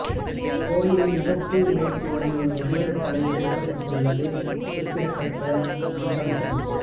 இக்கோயிலின் முகப்பு மேற்சுவரில் ஒரு மனிதனின் தலை செதுக்கப்பட்டுள்ளது குறிப்பிடத்தக்க அம்சமாகும்